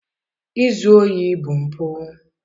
Izu ohi bụ mpụ.